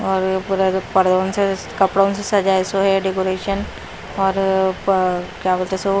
पूरा पर्दों से कपड़ों से सजाए सो है डेकोरेशन और क्या बोलते हैं सो--